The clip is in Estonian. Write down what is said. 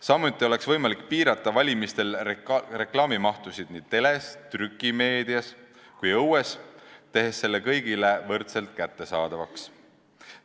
Samuti oleks võimalik piirata valimiste ajal reklaamimahtu nii teles, trükimeedias kui ka õues, tehes reklaami kõigile võrdselt kättesaadavaks.